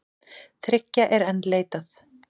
Þriggja er enn leitað.